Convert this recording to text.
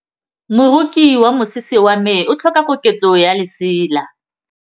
Moroki wa mosese wa me o tlhoka koketsô ya lesela.